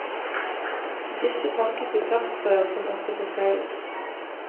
Disse pakkes i plastrør, som også forsegles.